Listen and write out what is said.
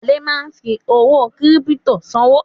Adé ma fi owó kírípítò sanwó